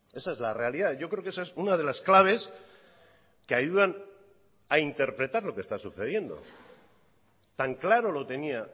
esa es la realidad yo creo que esa es una de las claves que ayudan a interpretar lo que está sucediendo tan claro lo tenía